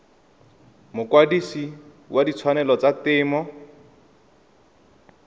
mokwadise wa ditshwanelo tsa temo